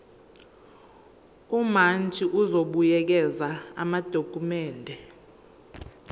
umantshi uzobuyekeza amadokhumende